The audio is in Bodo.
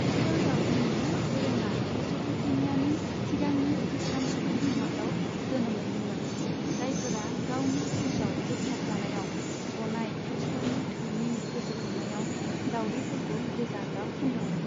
इस्टार दाउदैनि दोरोङा मेस'पटेमियानि सिगांनि खृष्टान सुबुं समाजाव जोनोम मोन्दोंमोन, जायफोरा गावनि क्रुसाव दोग्थाबजानायाव गनाय खृष्टनि थैनि गोसोखांनायाव दाउदैफोरखौ गोजा गाब फुन्दोंमोन।